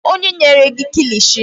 Kedụ onye nyere gị kilishi?